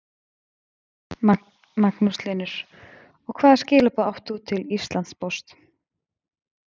Magnús Hlynur: Og hvaða skilaboð átt þú til Íslandspóst?